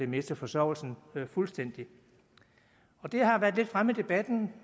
miste forsørgelsen fuldstændig det har været lidt fremme i debatten